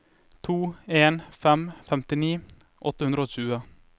to en en fem femtini åtte hundre og tjue